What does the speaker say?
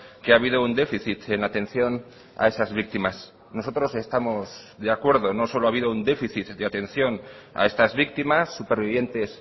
que ha habido un déficit en la atención a esas víctimas nosotros estamos de acuerdo no solo ha habido un déficit de atención a estas víctimas supervivientes